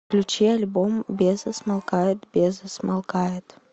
включи альбом беза смолкает беза смолкает